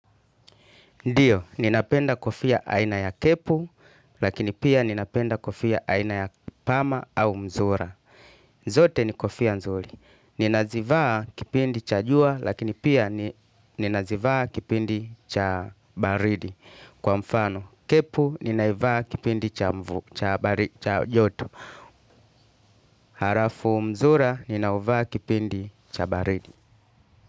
Ndiyo, ninapenda kofia aina ya kepu, lakini pia ninapenda kofia aina ya pama au mzura. Zote ni kofia nzuri. Ninazivaa kipindi cha juwa, lakini pia ninazivaa kipindi cha baridi. Kwa mfano, kepu, ninaivaa kipindi cha mvu, cha baridi, cha joto. Harafu mzura, ninauvaa kipindi cha baridi.